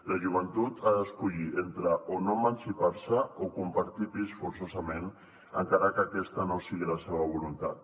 la joventut ha d’escollir entre o no emancipar se o compartir pis forçosament encara que aquesta no sigui la seva voluntat